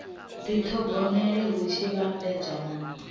dithogomela hu tshi vhambedzwa na